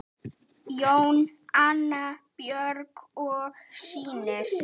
Jón, Anna Björk og synir.